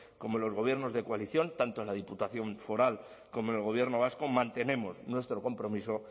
como en los gobiernos de coalición tanto en la diputación foral como en el gobierno vasco mantenemos nuestro compromiso